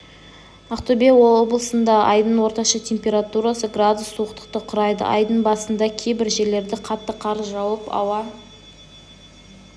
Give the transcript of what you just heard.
ақтөбе облысында айдың орташа температурасы градус суықтықты құрайды айдың басында кейбір жерлерде қатты қар жауып ауа